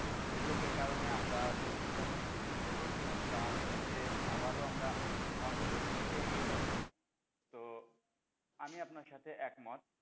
উদ্যোগের কারণে আমরা যে যতোটুকু পিছিয়ে পড়ে ছিলাম তার থেকে আবারও আমরা অগ্রগতির দিকে এগিয়ে যাচ্ছি তো আমি আপনার সাথে একমত,